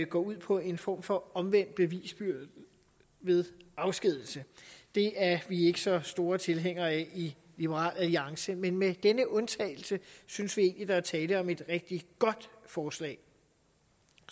går ud på en form for omvendt bevisbyrde ved afskedigelse det er vi ikke så store tilhængere af i liberal alliance men med den undtagelse synes vi egentlig der er tale om et rigtig godt forslag